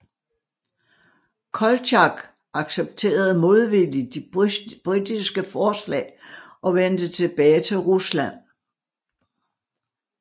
Koltjak accepterede modvilligt de britiske forslag og vendte tilbage til Rusland